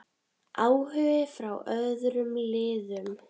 Áhugi frá öðrum liðum?